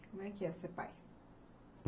Como é que é ser pai?